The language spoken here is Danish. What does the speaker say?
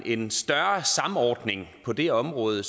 en større samordning på det her område